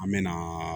An me na